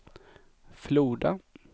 Floda